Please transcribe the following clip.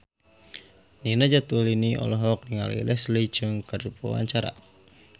Nina Zatulini olohok ningali Leslie Cheung keur diwawancara